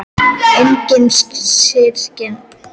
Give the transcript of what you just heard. Engir syrgjandi ekkjumenn eða elliær gamalmenni.